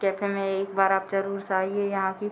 cafe में एक बार आप जरूर से आइए यहाँ की --